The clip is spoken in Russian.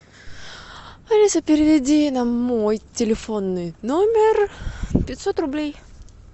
алиса переведи на мой телефонный номер пятьсот рублей